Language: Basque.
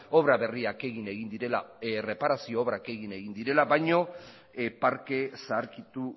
obra berriak egin egin direla erreparazio obrak egin egin direla baino parke zaharkitu